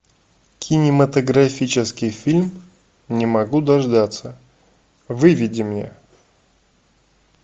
кинематографический фильм не могу дождаться выведи мне